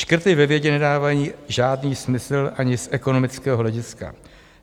Škrty ve vědě nedávají žádný smysl ani z ekonomického hlediska.